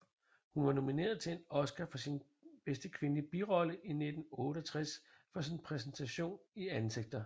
Hun var nomineret til en Oscar for bedste kvindelige birolle i 1968 for sin præstation i Ansigter